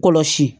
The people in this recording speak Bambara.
Kɔlɔsi